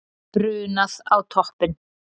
Brunað á toppinn